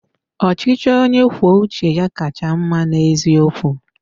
Ọchịchị onye kwuo uche ya kacha mma n'eziokwu.